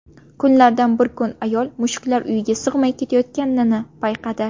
Kunlardan bir kun ayol mushuklar uyiga sig‘may ketayotganini payqadi.